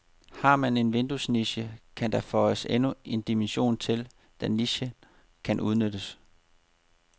Har man en vinduesniche, kan der føjes endnu en dimension til, da nichen kan udnyttes.